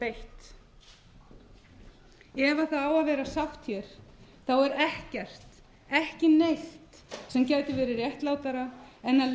beitt ef það á að vera sátt er ekkert ekki neitt sem gæti verið réttlátara en að